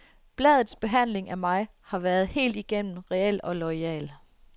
Bladets behandling af mig har været helt igennem reel og loyal.